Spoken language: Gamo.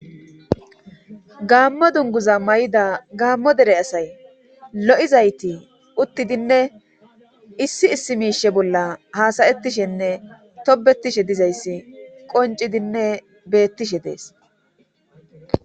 gaammo dunguza may7ida gaammo dere asay lo7izayti uttidinne issi issi miishe bolla haasayettishenne tobetishe dizayssi qoncidinne beettishe dees